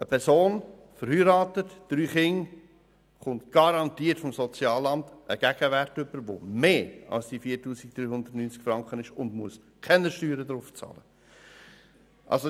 Eine verheiratete Person mit drei Kindern erhält vom Sozialamt garantiert einen Gegenwert, der mehr als 4390Franken beträgt und für welchen sie keine Steuern bezahlen muss.